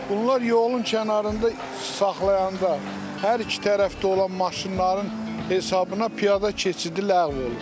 Bunlar yolun kənarında saxlayanda hər iki tərəfdə olan maşınların hesabına piyada keçidi ləğv olunur.